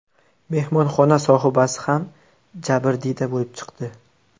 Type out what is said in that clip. Mehmonxona sohibasi ham jabrdiyda bo‘lib chiqdi.